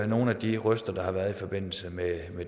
nogle af de røster der har været i forbindelse med